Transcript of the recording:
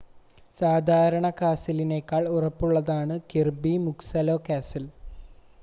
സാദാരണ കാസിലിനേക്കാൾ ഉറപ്പുള്ളതാണ് കിർബി മുക്സലൊ കാസിൽ